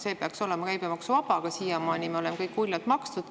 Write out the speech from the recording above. See peaks olema käibemaksuvaba, aga siiamaani me oleme kõik uljalt seda maksnud.